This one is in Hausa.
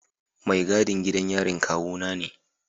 Mai gadin gidan yarin kawuna ne.